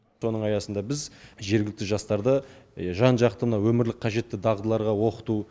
соның аясында біз жергілікті жастарды жан жақты мына өмірлік қажетті дағдыларға оқыту